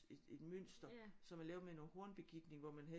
Et et mønster som er lavet med noget hornbegitning hvor man havde